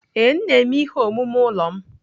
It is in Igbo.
Ee, m na-eme ihe omume ụlọ m.